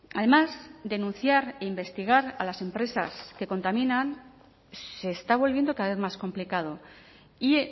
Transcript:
además denunciar e investigar a las empresas que contaminan se está volviendo cada vez más complicado y